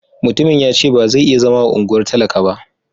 Mutumin ya ce ba zai iya zama a unguwar talaka ba.